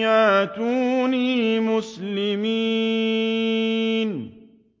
يَأْتُونِي مُسْلِمِينَ